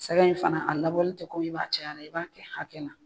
Sɛgɛn in fana a labɔli tɛ komi i b'a caya dɛ, i b'a kɛ hakɛ la